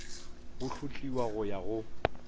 bo hlotliwa go ya go